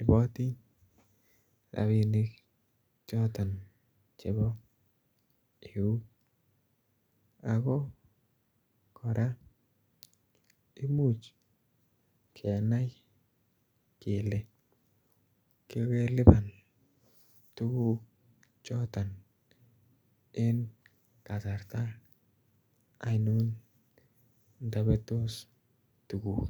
iboti rabinik choton chebo eut ako koraa imuch kenai kelee kogelipan tuguk choton en kasarta oinon nto betos tuguk